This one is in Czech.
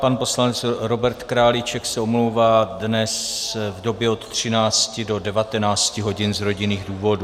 Pan poslanec Robert Králíček se omlouvá dnes v době od 13 do 19 hodin z rodinných důvodů.